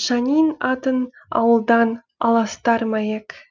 шанин атын ауылдан аластар ма ек